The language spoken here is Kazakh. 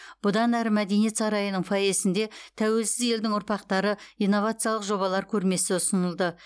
бұдан әрі мәдениет сарайының фойесінде тәуелсіз елдің ұрпақтары инновациялық жобалар көрмесі ұсынылды